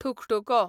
ठुकठुको